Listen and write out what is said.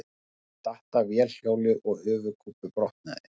Datt af vélhjóli og höfuðkúpubrotnaði